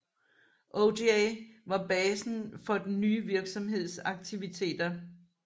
Ojai var basen for den nye virksomheds aktiviteter